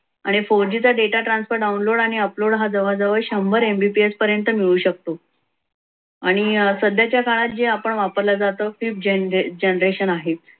आणि four g चा transfer download आणि upload हा जवळजवळ शंभर mbps पर्यंत मिळू शकतो. आणि सध्याच्या काळात जे आपण वापरला जातो fifth generation आहे.